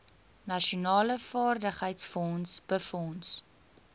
nasionale vaardigheidsfonds befonds